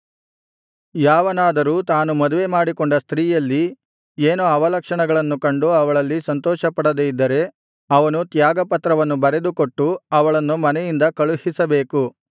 ಯಾವನಾದರೂ ತಾನು ಮದುವೆಮಾಡಿಕೊಂಡ ಸ್ತ್ರೀಯಲ್ಲಿ ಏನೋ ಅವಲಕ್ಷಣವನ್ನು ಕಂಡು ಅವಳಲ್ಲಿ ಸಂತೋಷಪಡದೆ ಇದ್ದರೆ ಅವನು ತ್ಯಾಗಪತ್ರವನ್ನು ಬರೆದುಕೊಟ್ಟು ಅವಳನ್ನು ಮನೆಯಿಂದ ಕಳುಹಿಸಬೇಕು